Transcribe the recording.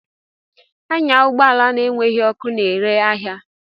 Anya ụgbọ ala na-enweghị ọkụ na-ere ahịa!